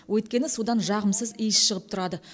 өйткені судан жағымсыз иіс шығып тұрады